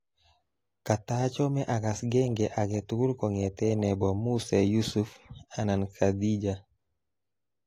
Katachome akass genge aketugul konget nebo musee Yusuf anan Khadija